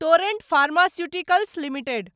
torrent Pharmaceuticals limited